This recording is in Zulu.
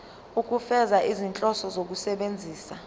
ukufeza izinhloso zokusebenzisa